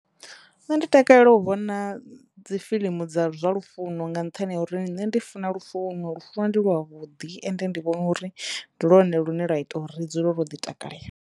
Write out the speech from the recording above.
Nṋe ndi takalela u vhona dzi fiḽimu dza zwa lufuno nga nṱhani ha uri nṋe ndi funa lufuno lufuno ndi lwa vhuḓi ende ndi vhona uri ndi lwone lune lwa ita uri ri dzule ro ḓi takalela.